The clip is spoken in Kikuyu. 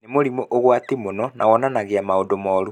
Nĩ mũrimũ ũgwati mũno na wonanagia maũndũ moru